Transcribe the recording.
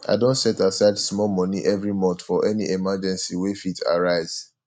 i don set aside small money every month for any emergency wey fit arise